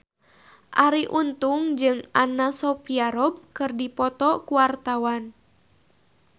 Arie Untung jeung Anna Sophia Robb keur dipoto ku wartawan